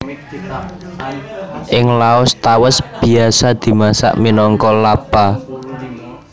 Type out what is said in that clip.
Ing Laos tawès biasa dimasak minangka Lap Pa